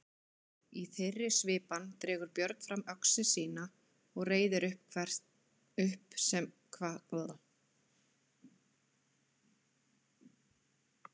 Í þeirri svipan dregur Björn fram öxi sína og reiðir upp sem hvatlegast.